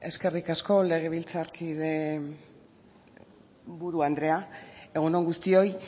eskerrik asko legebiltzar buru andrea egun on guztioi